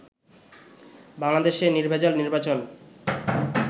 বাংলাদেশে নির্ভেজাল নির্বাচন